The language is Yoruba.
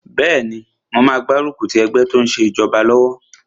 Bẹ́ẹ̀ni, mo máa gbárùkù ti ẹgbẹ́ tó n ṣe ìjọba lọ́wọ́